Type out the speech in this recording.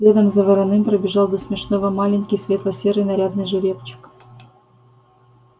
следом за вороным пробежал до смешного маленький светло-серый нарядный жеребчик